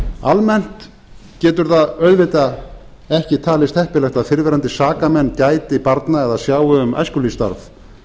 almennt getur það auðvitað ekki talist heppilegt að fyrrverandi sakamenn gæti barna eða sjái um æskulýðsstarf